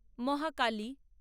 Mahakali